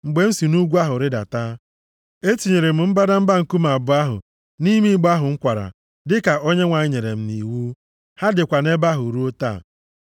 Mgbe m si nʼugwu ahụ rịdata, etinyere m mbadamba nkume abụọ ahụ nʼime igbe ahụ m kwara, dịka Onyenwe anyị nyere m nʼiwu. Ha dịkwa nʼebe ahụ ruo taa.